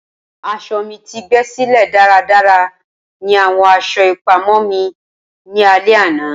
Aso mi ti gbesile daradara ni awọn aṣọ ipamọ mi ni alẹ ana.